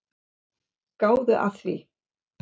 Gáðu að því.